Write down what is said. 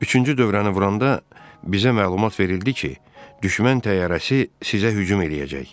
Üçüncü dövrəni vuranda bizə məlumat verildi ki, düşmən təyyarəsi sizə hücum eləyəcək.